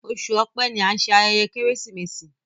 Oṣù Ọ̀pẹ́ ní an ṣe ayẹyẹ Keresimesi.